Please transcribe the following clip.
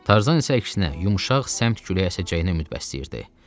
Tarzan isə əksinə, yumşaq səmt küləyi əsəcəyinə ümid bəsləyirdi.